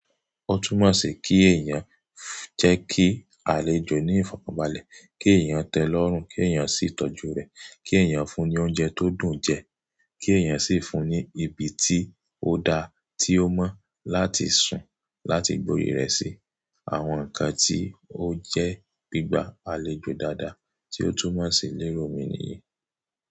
Ó túnmọ̀ sí kí èèyàn jẹ́ kí àlejò ní ìfọ̀kànbalẹ̀, kí èèyàn tẹ́lẹ̀ ọ̀run, kí èèyàn sì tọ́jú rẹ̀, kí èèyàn fún un ní oúnjẹ tó dùn jẹ́, kí èèyàn sì fún un ní ibi tí ó dáa tí ó mọ́ láti sùn, láti gbori rẹ̀ síi. Àwọn nǹkan tí ó jẹ́ gbígbá àlejò dáadáa tí ó túnmọ̀ sí lérò omi nìyí.